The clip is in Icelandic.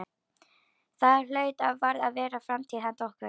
Það hlaut og varð að vera framtíð handa okkur.